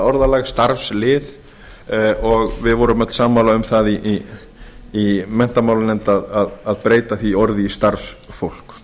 orðalag starfslið og við vorum öll sammála um það í menntamálanefnd að breyta því orði í starfsfólk